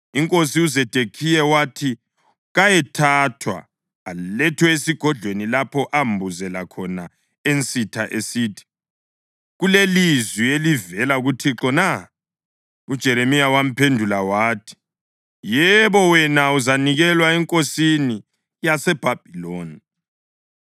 Inkosi uZedekhiya wathi kayethathwa alethwe esigodlweni lapho ambuzela khona ensitha esithi, “Kulelizwi elivela kuThixo na?” UJeremiya waphendula wathi, “Yebo, wena uzanikelwa enkosini yaseBhabhiloni.”